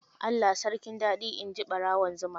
Allah sarkin dadi, inji barawon zuma.